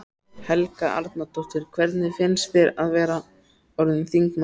Helga Arnardóttir: Hvernig finnst þér að vera orðinn þingmaður?